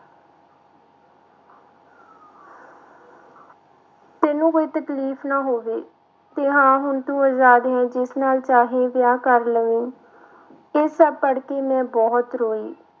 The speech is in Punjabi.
ਤੈਨੂੰ ਕੋਈ ਤਕਲੀਫ਼ ਨਾ ਹੋਵੇ ਤੇ ਹਾਂ ਹੁਣ ਤੂੰ ਆਜ਼ਾਦ ਹੈ ਜਿਸ ਨਾਲ ਚਾਹੇ ਵਿਆਹ ਕਰ ਲਵੀਂ ਇਹ ਸਭ ਪੜ੍ਹ ਕੇ ਮੈਂ ਬਹੁਤ ਰੋਈ।